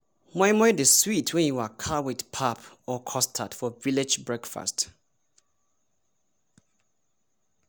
moi moi dey sweet when e waka with pap or custard for village breakfast